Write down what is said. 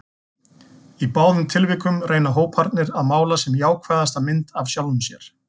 Í báðum tilvikum reyna hóparnir að mála sem jákvæðasta mynd af sjálfum sér.